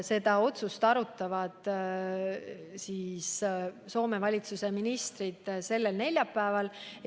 Seda otsust arutavad Soome valitsuse ministrid sellel neljapäeval.